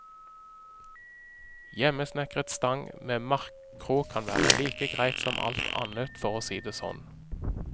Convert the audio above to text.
Hjemmesnekret stang med markkrok kan være like greit som alt annet for å si det sånn.